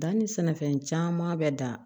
Danni sɛnɛfɛn caman bɛ dan